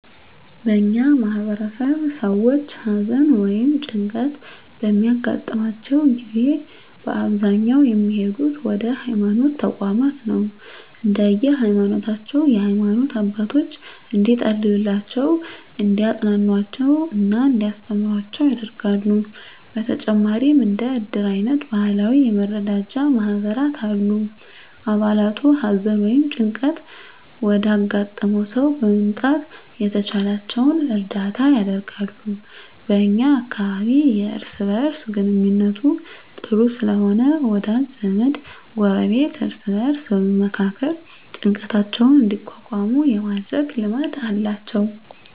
በእኛ ማህበረሰብ ሰዎች ሀዘን ወ ይም ጭንቀት በሚያገጥማቸው ጊዜ በአብዛኛው የሚሄዱት ወደ ሀይማኖት ተቋማት ነው። እንደየ ሀይማኖታቸው የሃይማኖት አባቶች እንዲፀልዩላቸው፣ እንዲያፅናኑአቸው እና እንዲያስተምሩአቸው ያደርጋሉ። በተጨማሪም እንደ እድር አይነት ባህላዊ የመረዳጃ ማህበራት አሉ። አባላቱ ሀዘን ወይም ጭንቀት ወዳጋጠመው ሰው በመምጣት የተቻላቸውን እርዳታ ያደርጋሉ። በ እኛ አካባቢ የእርስ በእርስ ግንኙነቱ ጥሩ ስለሆነ ወዳጅ ዘመድ፣ ጎረቤት እርስ በእርስ በመመካከር ጭንቀታቸውን እንዲቋቋሙ የማድረግ ልማድ አላቸው።